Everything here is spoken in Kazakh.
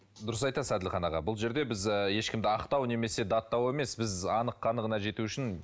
дұрыс айтасыз әділхан аға бұл жерде біз ы ешкімді ақтау немесе даттау емес біз анық қанығына жету үшін